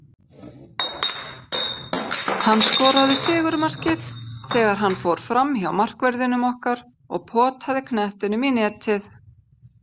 Hann skoraði sigurmarkið þegar hann fór framhjá markverðinum okkar og potaði knettinum í netið.